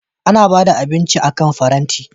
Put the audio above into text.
Ana ba da abinci akan faranti.